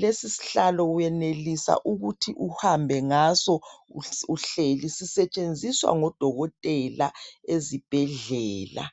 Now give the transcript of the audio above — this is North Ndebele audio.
,lesi sihlalo uyenelisa ukuthi uhambe ngaso uhleli sisetshenziswa ngodokotela ezibhedlela.